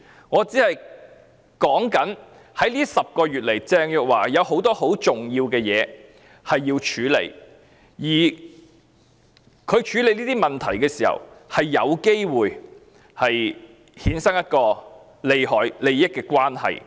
在這10個月裏，鄭若驊有很多很重要的事情要處理，而她在處理這些問題時，有機會衍生一種利益關係。